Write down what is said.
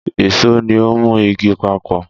Ìṣó ni ó ń mú igi papọ̀